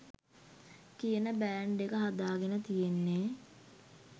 කියන බෑන්ඩ් එක හදාගෙන තියෙන්නෙ.